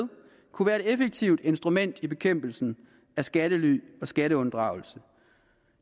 kunne være et effektivt instrument i bekæmpelsen af skattely og skatteunddragelse